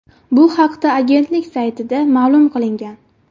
Bu haqda agentlik saytida ma’lum qilingan .